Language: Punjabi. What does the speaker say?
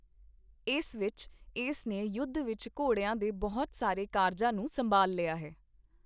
ਇਸ ਵਿੱਚ, ਇਸ ਨੇ ਯੁੱਧ ਵਿੱਚ ਘੋੜਿਆਂ ਦੇ ਬਹੁਤ ਸਾਰੇ ਕਾਰਜਾਂ ਨੂੰ ਸੰਭਾਲ ਲਿਆ ਹੈ।